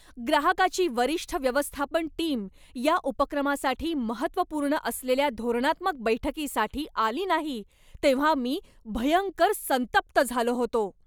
ग्राहकाची वरिष्ठ व्यवस्थापन टीम या उपक्रमासाठी महत्त्वपूर्ण असलेल्या धोरणात्मक बैठकीसाठी आली नाही तेव्हा मी भयंकर संतप्त झालो होतो.